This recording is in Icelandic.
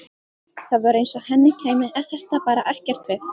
Það var eins og henni kæmi þetta bara ekkert við.